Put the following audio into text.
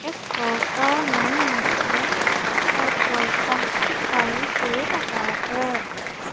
इस फोटो में मुझे पेट्रोल पंप दिखाई दे रहा है।